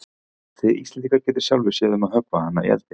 Þið Íslendingar getið sjálfir séð um að höggva hana í eldinn.